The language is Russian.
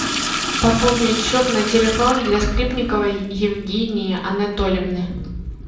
пополнить счет на телефон для скрипниковой евгении анатольевны